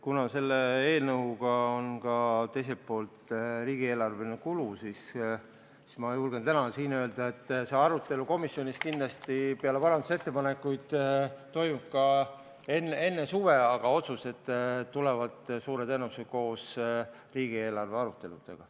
Kuna selle eelnõuga kaasneb teiselt poolt ka riigieelarveline kulu, siis ma julgen täna siin öelda, et see arutelu komisjonis kindlasti peale parandusettepanekuid toimub enne suve, aga otsused tulevad suure tõenäosusega koos riigieelarve aruteludega.